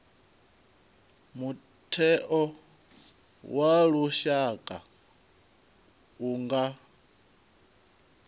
mutheo wa lushaka u nga